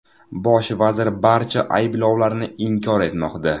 Bosh vazir barcha ayblovlarni inkor etmoqda.